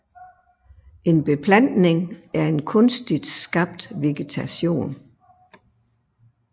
En beplantning er en kunstigt skabt vegetation